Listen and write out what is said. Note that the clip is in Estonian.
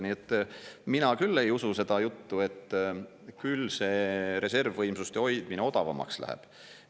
Nii et mina küll ei usu seda juttu, et küll see reservvõimsuste hoidmine odavamaks läheb.